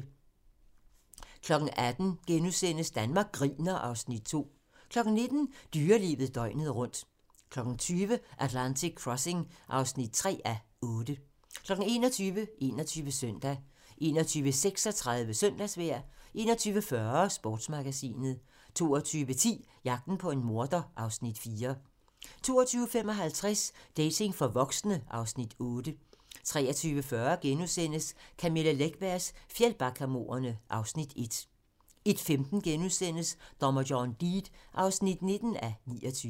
18:00: Danmark griner (Afs. 2)* 19:00: Dyrelivet døgnet rundt 20:00: Atlantic Crossing (3:8) 21:00: 21 Søndag 21:36: Søndagsvejr 21:40: Sportsmagasinet 22:10: Jagten på en morder (Afs. 4) 22:55: Dating for voksne (Afs. 8) 23:40: Camilla Läckbergs Fjällbackamordene (Afs. 1)* 01:15: Dommer John Deed (19:29)*